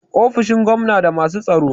ofoshin gwamna da masu tsaro